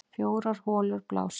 Fjórar holur blása